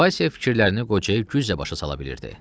Vaysə fikirlərini qocaya güclə başa sala bilirdi.